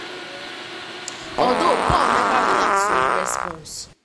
although paul neva react to im response